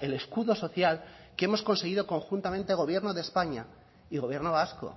el escudo social que hemos conseguido conjuntamente gobierno de españa y gobierno vasco